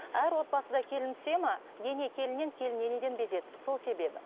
әр отбасына келін түсе ме ене келіннен келін енеде безеді сол себебі